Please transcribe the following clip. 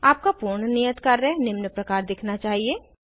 आपका पूर्ण नियत कार्य निम्न प्रकार दिखना चाहिए